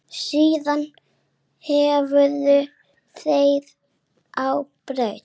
Síðan hurfu þeir á braut.